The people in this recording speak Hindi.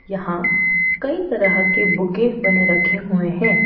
यहां कई तरह के बुके बने रखे हुए हैं।